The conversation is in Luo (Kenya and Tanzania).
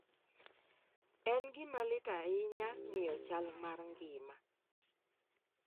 En gima lit ahinya ng'iyo chal mar ngima